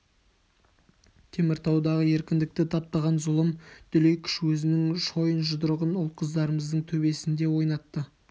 теміртаудағы еркіндікті таптаған зұлым дүлей күш өзінің шойын жұдырығын ұл-қыздарымыздың төбесінде ойнатты